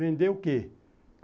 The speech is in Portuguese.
Vender o quê?